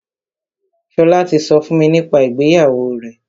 Ṣọlá ti sọ fún mi nípa ìgbéyàwó rẹ̀.